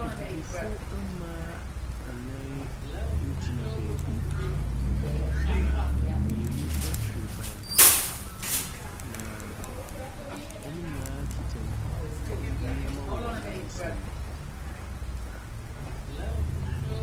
Abibifo mmaa nnan ɛgyina beebi, na mmienu ɛtwere ban ho, na wɔn nyinaa kita nneɛma ɛwɔ wɔn nsam.